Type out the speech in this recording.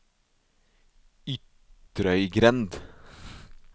Ytrøygrend